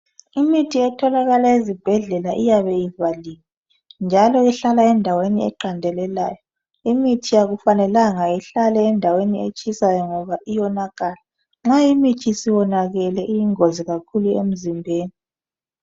Imithi etholakala ezibhedlela iyabe ivaliwe njalo ihlala endaweni eqandelelayo. Imithi akufanelanga ihlale endaweni etshisayo ngoba iyonakala. Nxa imithi isonakele iyingozi kakhulu emzimbeni.